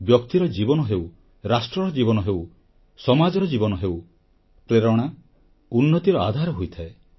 ବ୍ୟକ୍ତିର ଜୀବନ ହେଉ ରାଷ୍ଟ୍ରର ଜୀବନ ହେଉ ସମାଜର ଜୀବନ ହେଉ ପ୍ରେରଣା ଉନ୍ନତିର ଆଧାର ହୋଇଥାଏ